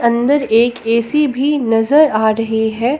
अंदर एक ए_सी भी नजर आ रही है।